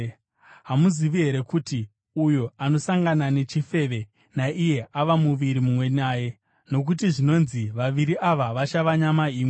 Hamuzivi here kuti uyo anosangana nechifeve naiye ava muviri mumwe naye? Nokuti zvinonzi, “Vaviri ava vachava nyama imwe.”